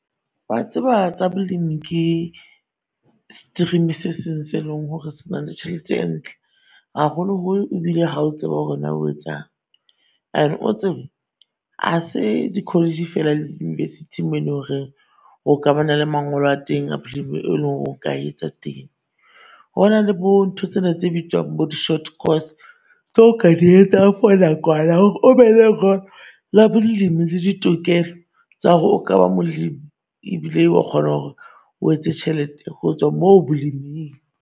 Wa tseba tsa bolemi ke stream-e se seng se leng hore se na le tjhelete e ntle. Haholo holo ebile ha o tseba hore naa o etsang. And o tsebe, a se di-college-e feela le di-university-ing mo lo reng o ka ba na le mangolo a teng a bolemi e lo re oka etsa teng. Hona le bo ntho tsena tse bitswang bo di-short course tse o ka di etsang for nakwana hore o be le la bolemi le ditokelo tsa hore o ka ba molemi ebile wa kgona hore o etse tjhelete ho tswa moo boleming.